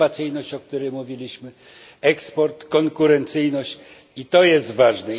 Innowacyjność, o której mówiliśmy, eksport, konkurencyjność, to jest ważne.